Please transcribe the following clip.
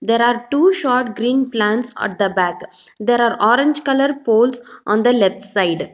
there are two short green plants at the bag there are orange colour poles on the left side.